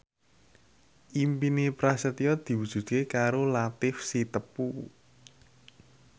impine Prasetyo diwujudke karo Latief Sitepu